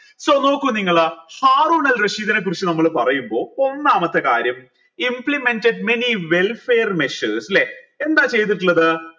നോക്കു നിങ്ങൾ ഹാറൂനൽ റഷീദിനെ കുറിച്ച് നമ്മൾ പറയുമ്പോ ഒന്നാമത്തെ കാര്യം implemented many welfare measures ല്ലെ എന്താ ചെയ്തിട്ടുള്ളത്